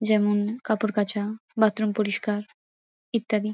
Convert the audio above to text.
যেমন কাপড় কাঁচা বাথরুম পরিষ্কার ইত্যাদি।